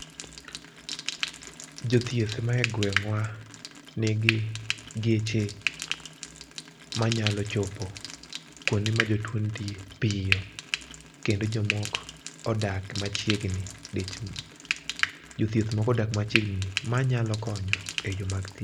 Jothieth ma e gweng'wa nigi geche ma nyalo chopo kuonde ma jotuo nitie piyo. Kendo jomok odak machiegni, jothieth mokodak machiegni manyalo konyo e yo mag thieth.